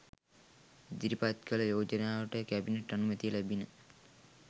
ඉදිරිපත් කළ යෝජනාවට කැබිනට් අනුමැතිය ලැබිණ